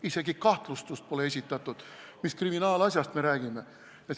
Isegi kahtlustust pole esitatud, mis kriminaalasjast me räägime!